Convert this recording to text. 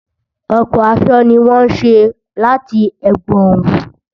Ọ̀pọ̀ aṣọ ni wọ́n ṣé láti ẹ̀gbọn òwú